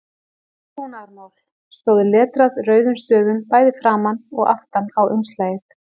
TRÚNAÐARMÁL stóð letrað rauðum stöfum bæði framan og aftan á umslagið.